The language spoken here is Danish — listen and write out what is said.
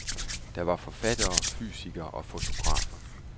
Der var forfattere, fysikere og fotografer.